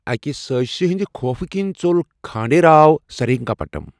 اَکہِ سٲزشہِ ہنٛدِ خوفہٕ كِنۍ ژوٚل کھانڈے راو سرینگا پٹم۔